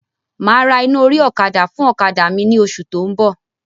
Máa ra iná orí ọ̀kadà fún ọ̀kadà mi ni oṣù tó ń bọ̀.